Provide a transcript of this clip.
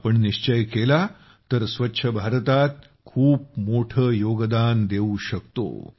आम्ही निश्चय केला तर स्वच्छ भारतात खूप मोठं योगदान देऊ शकतो